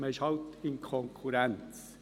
Man ist halt in Konkurrenz.